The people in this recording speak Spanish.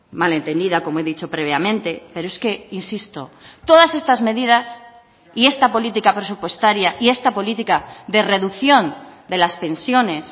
mal entendida como he dicho previamente pero es que insisto todas estas medidas y esta política presupuestaria y esta política de reducción de las pensiones